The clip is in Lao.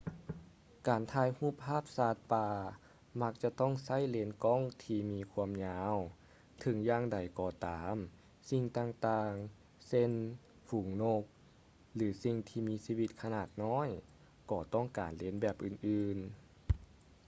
ການຖ່າຍຮູບພາບສັດປ່າມັກຈະຕ້ອງໃຊ້ເລນກ້ອງທີ່ມີຄວາມຍາວ ເຖິງຢ່າງໃດກໍຕາມສິ່ງຕ່າງໆ ເຊັ່ນ ຝູງນົກ ຫຼື ສິ່ງທີ່ມີຊີວິດຂະໜາດນ້ອຍ ກໍຕ້ອງການເລນແບບອື່ນໆ